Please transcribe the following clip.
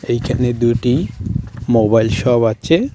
এইখানে দুইটি mobile shop আছে .